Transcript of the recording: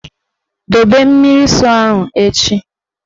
Dobe mmiri nsọ ahụ echi!